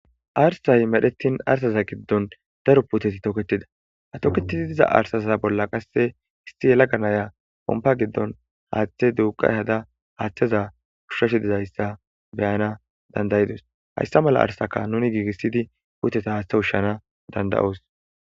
Arsay medhettin arsaza giddon daro puteti tooketida hatoketizi diza arsaza bolla qasse isti yela ganaya pompa giddon haaththe duuqa hada haaththeza ushshash dizayssa beyana dandayidos hayssa mala arsaka nuni giigissidi puuteta haaththe ushshana danda'oos.